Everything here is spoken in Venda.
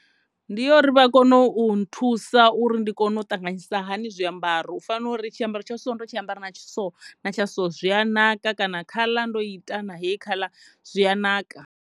Ndi yo uri vha kone u nthusa uri ndi kone u ṱanganyisa hani zwiambaro u fana na uri tshiambaro tsha so ndo tshi ambara na tshithu tsha so zwi a naka kana khaḽa ndo i ita na hei khaḽa zwi a naka.